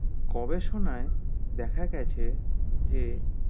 গবেষনায় দেখা গেছে যে